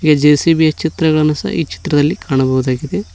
A JCB ಚಿತ್ರಗಳನ್ನು ಸಹ ಈ ಚಿತ್ರದಲ್ಲಿ ಕಾಣಬಹುದಾಗಿದೆ.